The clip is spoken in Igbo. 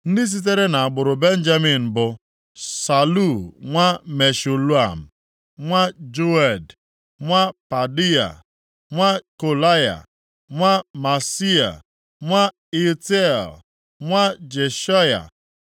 Ndị sitere nʼagbụrụ Benjamin bụ, Salu nwa Meshulam, nwa Joed, nwa Pedaia, nwa Kolaya, nwa Maaseia, nwa Itiel, nwa Jeshaya,